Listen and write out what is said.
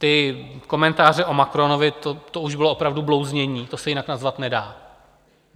Ty komentáře o Macronovi, to už bylo opravdu blouznění, to se jinak nazvat nedá.